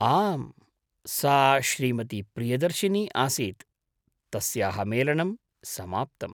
आम्, सा श्रीमती प्रियदर्शिनी आसीत्, तस्याः मेलनं समाप्तम्।